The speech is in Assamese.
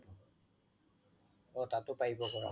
অ তাতয়ো পাৰিব কৰাব